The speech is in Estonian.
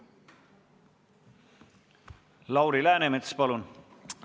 Lauri Läänemets, palun!